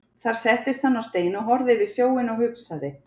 Þar settist hann á stein og horfði yfir sjóinn og hugsaði.